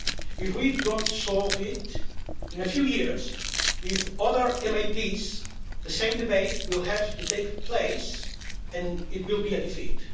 If we don't solve this, in a few years, with other MEPs, the same debate will have to take place and it will be a defeat.